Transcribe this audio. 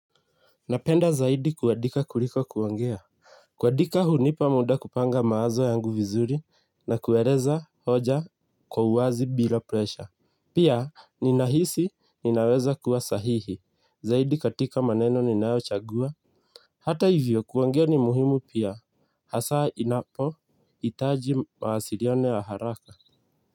Napenda zaidi kuandika kuliko kuongea. Kuandika hunipa muda kupanga mawazo yangu vizuri na kueleza hoja kwa uwazi bila presha. Pia ninahisi ninaweza kuwa sahihi zaidi katika maneno ninayochagua. Hata hivyo kuongea ni muhimu pia hasa inapohitaji mawasiliano ya haraka.